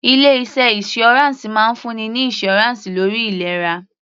Ilé iṣẹ́ insurance máa ń fún ni ní insurance lórí ìlera.